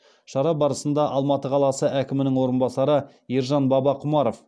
шара барысында алматы қаласы әкімінің орынбасары ержан бабақұмаров